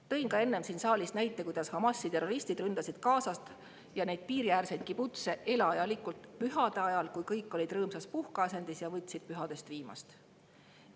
Tõin ka enne siin saalis näite, kuidas Hamasi terroristid ründasid Gazat ja piiriäärseid kibutseid elajalikult pühade ajal, kui kõik olid rõõmsas puhkeasendis ja võtsid pühadest viimast.